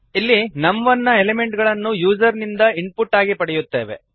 ಇಲ್ಲಿ ನಮ್1 ನ ಎಲಿಮೆಂಟ್ ಗಳನ್ನು ಯೂಸರ್ ಇಂದ ಇನ್ಪುಟ್ ಆಗಿ ಪಡೆಯುತ್ತೇವೆ